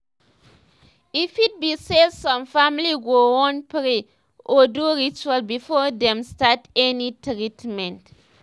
e fit be say some families go wan pray or do ritual before dem start any treatment